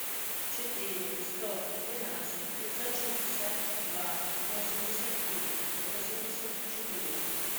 четыре сто двенадцать пятьсот шестьдесят два восемьдесят три восемьдесят четыре